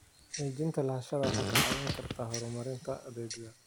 Xaqiijinta lahaanshaha waxay kaa caawin kartaa horumarinta adeegga.